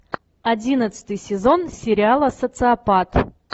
одиннадцатый сезон сериала социопат